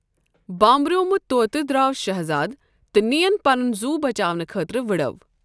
بانٛبریومٗت طوطہ دراو شہزاد تہٕ نِین پنُن زُو بَچاونہٕ خٲطرٕ وٕڑِو ۔